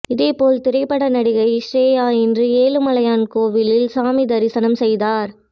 இதேபோல் திரைப்பட நடிகை ஸ்ரேயா இன்று ஏழுமலையான் கோவிலில் சாமி தரிசனம் செய்தார்